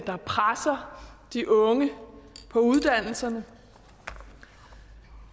der presser de unge på uddannelserne